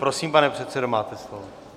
Prosím, pane předsedo, máte slovo.